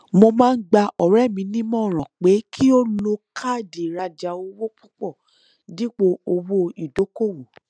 mo máa ń gba ọrẹ mi nímọràn pé kí ó lo káàdì ìrajà owó púpọ dípò owó ìdókòwò